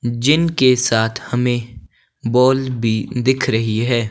जिन के साथ हमें बॉल भी दिख रही हैं।